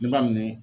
Ne b'a minɛ